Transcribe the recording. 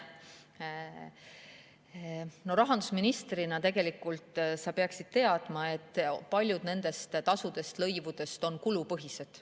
No rahandusministrina sa peaksid teadma, et paljud nendest tasudest ja lõivudest on kulupõhised.